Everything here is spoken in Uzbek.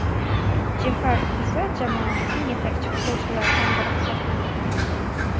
Jeparov esa jamoamizning yetakchi futbolchilaridan biri hisoblanadi.